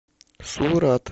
сурат